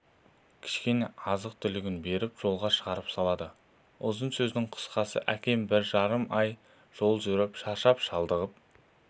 кішкене азық-түлігін беріп жолға шығарып салады ұзын-сөздің қысқасы әкем бір жарым ай жол жүріп шаршап-шалдығып